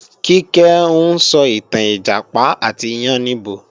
Kíkẹ́ ń sọ ìtàn Ìjàpá àti yáníbo